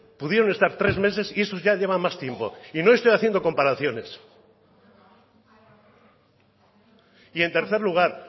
pudieron estar tres meses y esos ya llevan más tiempo y no estoy haciendo comparaciones y en tercer lugar